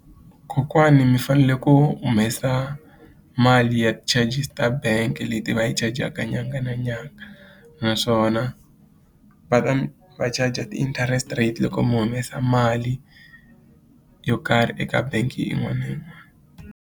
Kokwani mi fanele ku humesa mali ya ti-charges ta bank leti va yi chajaka nyanga na nyanga naswona va ta mi va charger ti-interest rate loko mi humesa mali yo karhi eka bangi yin'wana na yin'wana.